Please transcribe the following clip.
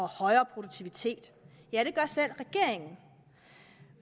højere produktivitet ja det gør selv regeringen